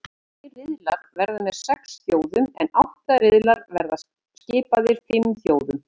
Tveir riðlar verða með sex þjóðum en átta riðlar verða skipaðir fimm þjóðum.